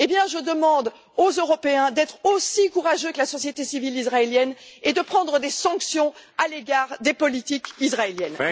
Je demande aux Européens d'être aussi courageux que la société civile israélienne et de prendre des sanctions à l'égard des politiques israéliennes.